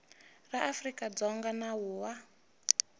ra afrika dzonga nawu wa